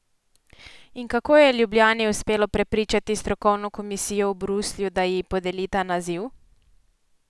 In kako je Ljubljani uspelo prepričati strokovno komisijo v Bruslju, da ji podeli ta naziv?